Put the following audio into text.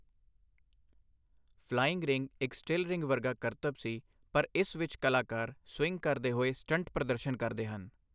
flying ring ਇੱਕ still ring ਵਰਗਾ ਕਰਤੱਬ ਸੀ, ਪਰ ਇਸ ਵਿੱਚ ਕਲਾਕਾਰ ਸਵਿੰਗ ਕਰਦੇ ਹੋਏ ਸਟੰਟ ਪ੍ਰਦਰਸ਼ਨ ਕਰਦੇ ਹਨ I